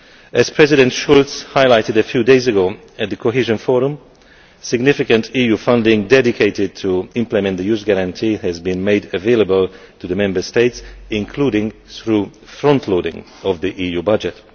As President Schulz highlighted a few day ago at the Cohesion Forum, significant EU funding dedicated to implementing the Youth Guarantee has been made available to the Member States, including through the frontloading of the EU budget.